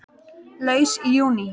Laus í júní